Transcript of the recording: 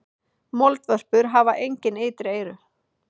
Moldvörpur hafa engin ytri eyru.